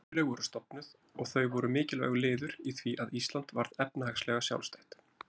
Kaupfélög voru stofnuð, og þau voru mikilvægur liður í því að Ísland varð efnahagslega sjálfstætt.